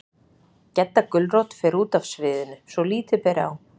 Gedda gulrót fer út af sviðinu, svo lítið beri á